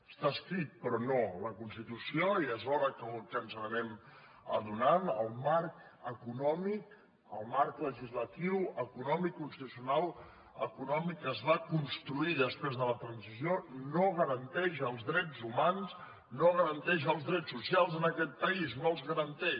està escrit però no la constitució ja és hora que ens n’anem adonant el marc econòmic el marc legislatiu econòmic constitucional econòmic que es va construir després de la transició no garanteix els drets humans no garanteix els drets socials en aquest país no els garanteix